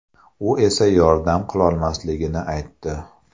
U esa yordam qilolmasligini aytdi.